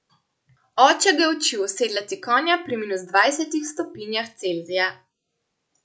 Oče ga je učil osedlati konja pri minus dvajsetih stopinjah Celzija.